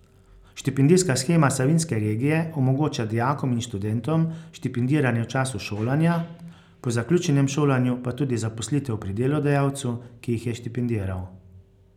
Štipendijska shema Savinjske regije omogoča dijakom in študentom štipendiranje v času šolanja, po zaključenem šolanju pa tudi zaposlitev pri delodajalcu, ki jih je štipendiral.